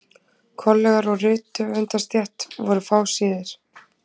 Kollegar úr rithöfundastétt voru fáséðir.